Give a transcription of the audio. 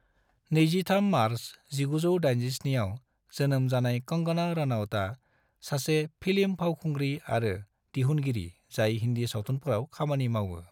23 मार्च 1987 आव जोनोम जानाय कंगना रनौतआ सासे फिल्म फावखुंग्रि आरो दिहुनगिरि जाय हिनदी सावथुनफोराव खामानि मावो।